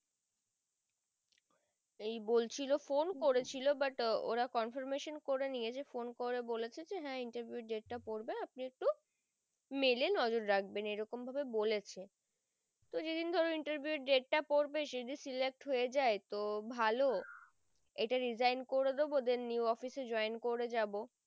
mail এ নজর রাখবেন এরকম ভাবে বলেছে তো যেদিন ধরো interview date টা পর্বে যদি select হয়ে যাই তো ভালো ইটা resign করে দেব then new office এ join করে যাবো।